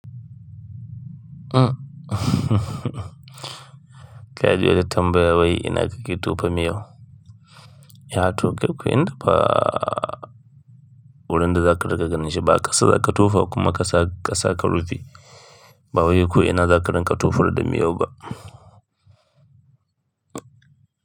Ka ji wata tambaya wai ina da littattafai mai yawa? Ya tuka ku inda ba wurin da za ka dakka ganishi, ba ƙasa za ka tofa kuma ƙasa ka saka rufi. Ba wai ko ina za ka rinka tufar da miyau ba.